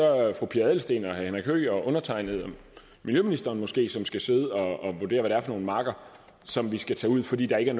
fru pia adelsteen og herre henrik høegh og undertegnede eller miljøministeren måske som skal sidde og vurdere hvad det er for nogle marker som vi skal tage ud fordi der ikke